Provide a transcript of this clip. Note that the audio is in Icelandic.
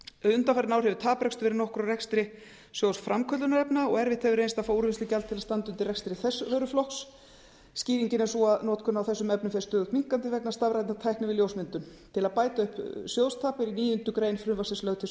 undanfarin ár hefur taprekstur verið nokkur á rekstri sjóðs framköllunarefna og erfitt hefur reynst að fá úrvinnslugjald til að standa undir rekstri þess vöruflokks skýringin er sú að notkun á þessum efnum fer stöðugt minnkandi vegna stafrænnar tækni við ljósmyndun til að bæta upp sjóðstap er í níundu grein frumvarpsins lögð til